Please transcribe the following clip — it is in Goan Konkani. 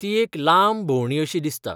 ती एक लांब भोंवडी अशी दिसता.